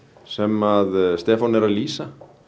sem að Stefán er að lýsa